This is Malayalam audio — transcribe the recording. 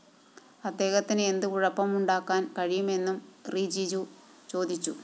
അദ്ദേഹത്തിന് എന്ത് കുഴപ്പം ഉണ്ടാക്കാന്‍ കഴിയുമെന്നും റിജിജു ചോദിച്ചു